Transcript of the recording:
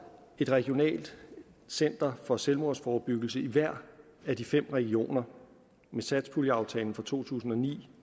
et regionalt center for selvmordsforebyggelse i hver af de fem regioner med satspuljeaftalen for to tusind og ni